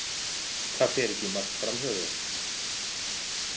Það fer ekki margt fram hjá þér.